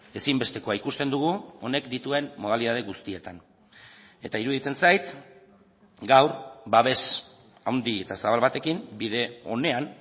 ezinbestekoa ikusten dugu honek dituen modalitate guztietan eta iruditzen zait gaur babes handi eta zabal batekin bide onean